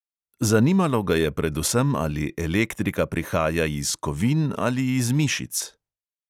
Zanimalo ga je predvsem, ali elektrika prihaja iz kovin ali iz mišic.